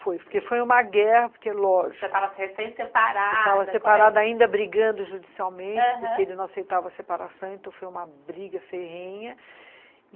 Foi, porque foi uma guerra, porque, lógico... Você estava recém separada... Eu estava separada, ainda brigando judicialmente, porque ele não aceitava separação, então foi uma briga ferrenha.